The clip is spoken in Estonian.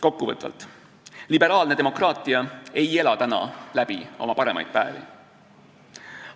Kokkuvõtvalt, liberaalne demokraatia ei ela praegu läbi oma paremaid päevi.